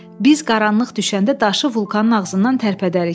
Biz qaranlıq düşəndə daşı vulkanın ağzından tərpədərik.